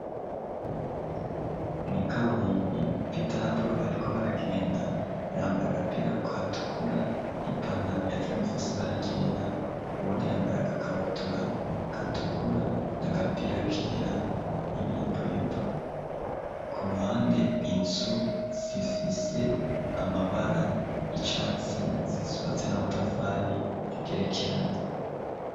Mw'ikaburimbi Pita na Polo bariko baragenda, yambaye agapira gatukura n'ipantaro ya joni ifise ibara ryera, uwundi yambaye agakabutura gatukura n'agapira kera n'ibiyeboyebo, ku ruhande inzu zifise amabara y'icatsi zubatse n'amatafari agerekeranye.